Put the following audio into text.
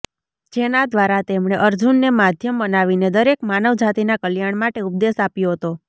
જેના દ્વારા તેમણે અર્જુનને માધ્યમ બનાવીને દરેક માનવ જાતિના કલ્યાણ માટે ઉપદેશ આપ્યો હતો